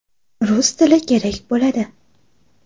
Rus tili kerak bo‘ladi.